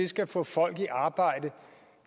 skal få folk i arbejde